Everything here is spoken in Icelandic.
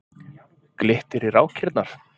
Glittir í rákirnar.